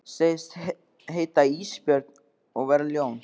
Segist heita Ísbjörg og vera ljón.